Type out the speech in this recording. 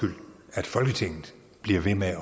at folketinget bliver ved med